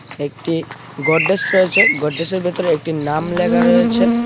একটি গোডরেজ রয়েছে গোডরেজের ভেতরে একটি নাম লেখা রয়েছে।